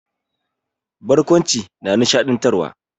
Barkwanci na nishaɗantarwa.